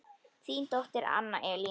Þín dóttir Anna Elín.